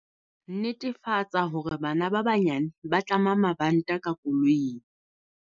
Netefatsa hore bana ba banyane ba tlama mabanta ka koloing.